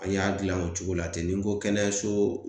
An y'a dilan o cogo la ten, ni n ko kɛnɛyaso